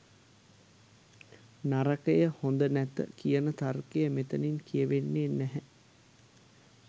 නරකය, හොඳ නැත කියන තර්කයක් මෙතතින් කියවෙන්නේ නැහැ.